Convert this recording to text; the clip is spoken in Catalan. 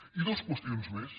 i dues qüestions més